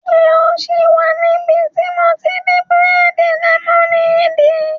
Ṣé o sì wà níbi tí mo ti n di bírèèdì lẹ́mọ́néèdì?